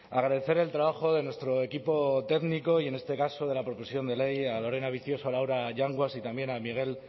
agradecer el trabajo de nuestro equipo técnico y en este caso de la propulsión de ley a lorena vicioso a laura yanguas y también a miguel